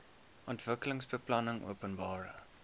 ontwikkelingsbeplanningopenbare